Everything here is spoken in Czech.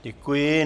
Děkuji.